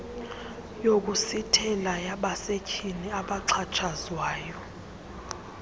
yokusithela yabasetyhini abaxhatshazwayo